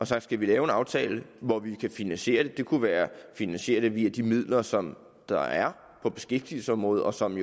sagt skal vi lave en aftale hvor vi kan finansiere det det kunne være at finansiere det via de midler som der er på beskæftigelsesområdet og som